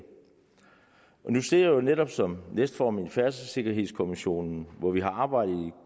jeg sidder jo netop som næstformand i færdselssikkerhedskommissionen hvor vi har arbejdet